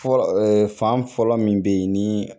Fɔlɔ ee fan fɔlɔ min be yen ni